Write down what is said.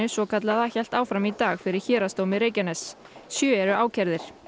svokallaða hélt áfram í dag fyrir Héraðsdómi Reykjaness sjö eru ákærðir